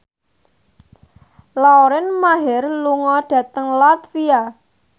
Lauren Maher lunga dhateng latvia